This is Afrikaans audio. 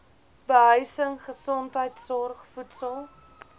behuising gesondheidsorg voedsel